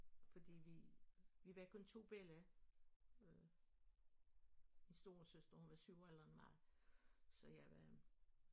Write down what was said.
Fordi vi vi var kun 2 bella min storesøster hun var 7 år ældre end mig så jeg var